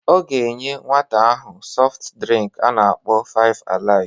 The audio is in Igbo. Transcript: Ọ ga enye nwata ahụ sọft drịnk a na-akpọ five-alive